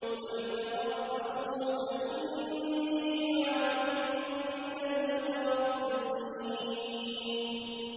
قُلْ تَرَبَّصُوا فَإِنِّي مَعَكُم مِّنَ الْمُتَرَبِّصِينَ